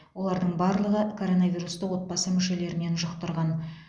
олардың барлығы коронавирусты отбасы мүшелерінен жұқтырған